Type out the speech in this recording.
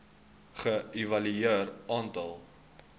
ge evalueer aantal